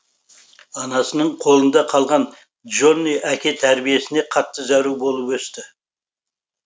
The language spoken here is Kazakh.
анасының қолында қалған джонни әке тәрбиесіне қатты зәру болып өсті